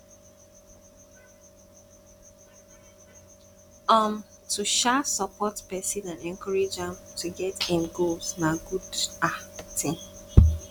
um to um support pesin and encourage am to get im goal na good um ting